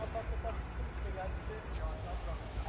Ətraflı tapşırıb ki, gəlin, yavaş-yavaş.